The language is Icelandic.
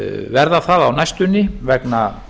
verða það á næstunni vegna